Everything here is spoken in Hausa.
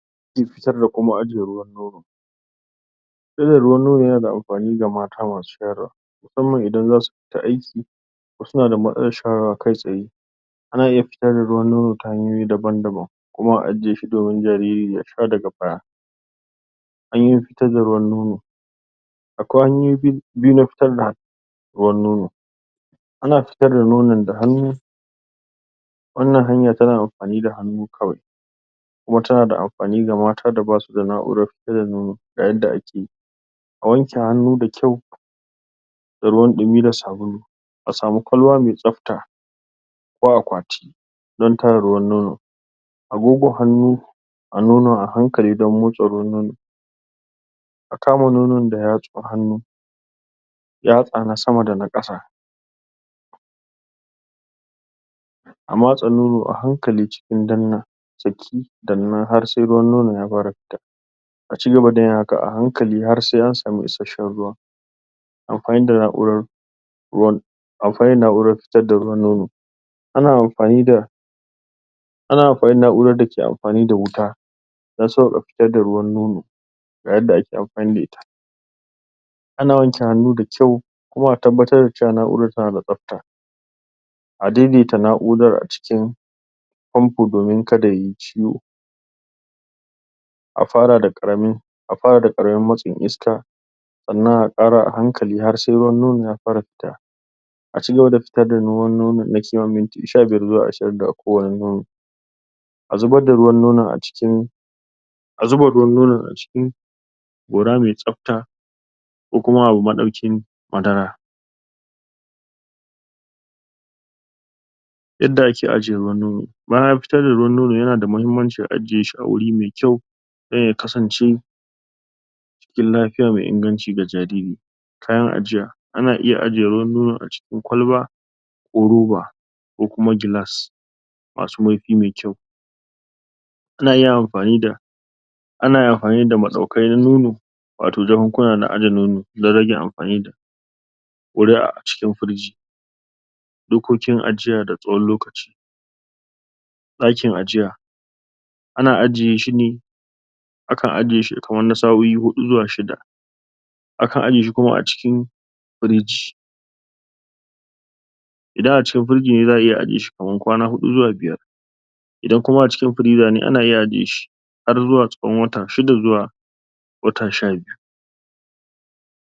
Fitar da ruwan nono ya na da amfani ga mata masu shayarwa, musamman idan za su fita aiki, su na da matsalar shayarwa kai-tsaye. A iya fitar da ruwan nono ta hanyoyi daban-daban, kuma a ajiye shi domin jariri ya sha daga baya. Hanyoyin fitar da ruwan nono; Akwai hanyoyi biyu na fitar da ruwan nono, ana fitar da nonon da hannu, wannan hanya tana amfani da hannu kawai, kuma ta na da amfani ga mata da ba su da na'urar da ake fitar da ruwan nono, ga yadda ake yi; a wanke hannu da kyau da ruwan ɗumi da sabulu, a samu kwalba mai tsafta ko akwati don tara ruwan nono a gogo hannu a nonon a hankali don motso ruwun nonon, A kama nonon da yatsun hannu, yatsa na sama da na ƙasa, a matse nono a hankali cikin danna ha sai ruwan nonon ya fara fita, a cigaba da yin haka a hankali har sai an samu isasshen ruwa. Amfani da na'urar ruwan Amfani da na'urar fitar da ruwan nono; Ana amfani da, ana amfani da na'urar da ke amfani da wuta don sauƙaƙa fitar da ruwan nono, ga yadda ake amfani da ita; Ana wanke hannu da kyau, kuma a tabbatar cewa na'urar ta na da tsafta. A dai-daita na'urar a cikin fanfo domin ka da yayi ciwo. A fara da ƙaramin, a fara da ƙaramin matsin iska, sannan a ƙara a hankali har sai ruwan nono ya fara fita. A cigaba da fitar da ruwan nonon sama da minti sha biyar zuwa shirin daga kowane nono. A zubar da ruwan nonon a ciki a zuba ruwan nonon a cikin gora mai tsafta ko kuma abu maɗaukin madara. Yadda ake ajiye ruwan nono; Bayan an fitar da ruwan nonon ya na da muhimmanci a ajiye shi awuri mai kyau, don ya kasance cikin lafiya mai inganci ga jariri. Kayan ajiya; Ana iya ajiye ruwan nonon a cikin kwalba ko roba ko kuma gilas masu marfi mai kyau. Ana iya amfani da ana iya amfani da maɗaukai na nono wato jakun-kuna na aje nono, don rage amfani wuri a cikin firij. Dokokin ajiya da tsawon lokaci; Daƙin ajiya, ana ajiye shi ne akan ajiye shi kaman na sa'o'i huɗu zuwa shida, akan aje shi kuma a cikin firij, idan a cikin firjin ne za'a iya ajiye shi kamar kwana huɗu zuwa biyar. idan kuma a cikin firiza ne, ana iya ajiye shi har zuwa tsawon wata shida zuwa wata sha biyu.